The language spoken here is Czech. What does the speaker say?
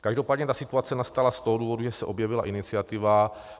Každopádně ta situace nastala z toho důvodu, že se objevila iniciativa